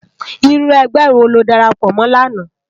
Irú ègbè wó ló dàrápò mò làná?